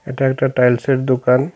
এটা একটা টাইলসের দোকান।